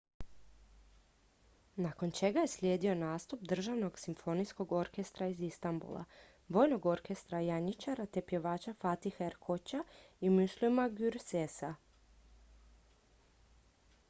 nakon čega je slijedio nastup državnog simfonijskog orkestra iz istambula vojnog orkestra janjičara te pjevača fatiha erkoça i müslüma gürsesa